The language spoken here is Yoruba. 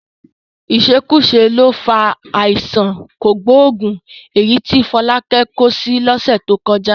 Ìṣekúṣe ló fa àìsàn kògbóògùn èyí tí Fọlákẹ́ kó sí lọ́sẹ̀ tó kọjá